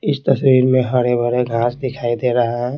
इस तस्वीर में हरे भरे घास दिखाई दे रहा है।